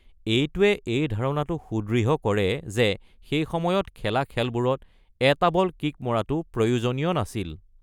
এইটোৱে এই ধাৰণাটো সুদৃঢ় কৰে যে সেই সময়ত খেলা খেলবোৰত এটা বল কিক মৰাটো প্ৰয়োজনীয় নাছিল।